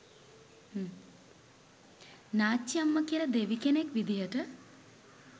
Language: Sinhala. “නාච්චිඅම්මා” කියල දෙවි කෙනෙක් විදිහට